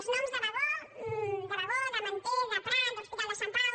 els noms de bagó de manté de prat de l’hospital de sant pau